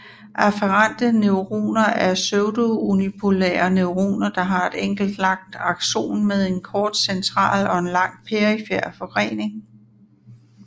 Afferente neuroner er pseudounipolær neuroner der har et enkelt langt axon med en kort central og en lang perifer forgrening